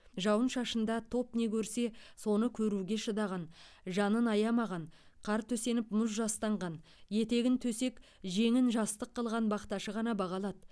жауын шашында топ не көрсе соны көруге шыдаған жанын аямаған қар төсеніп мұз жастанған етегін төсек жеңін жастық қылған бақташы ғана баға алады